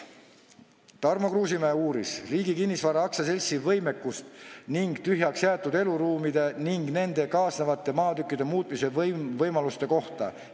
Tarmo Kruusimäe uuris Riigi Kinnisvara AS-i võimekuse ning tühjaks jäetud eluruumide ja nendega kaasnevate maatükkide muutmise võimaluste kohta.